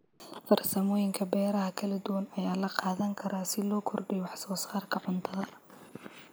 Farsamooyinka beeraha kala duwan ayaa la qaadan karaa si loo kordhiyo wax soo saarka cuntada.